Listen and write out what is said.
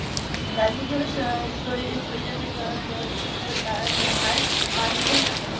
গান্ধীজি . তার হার মানলেন না